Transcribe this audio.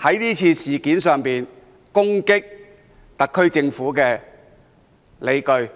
就這次事件攻擊特區政府的理據。